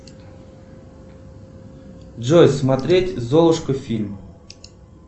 джой смотреть золушка фильм